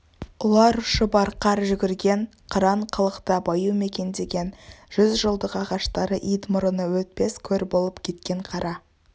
ұлар ұшып арқар жүгірген қыран қалықтап аю мекендеген жүз жылдық ағаштары ит мұрыны өтпес көр болып кеткен қара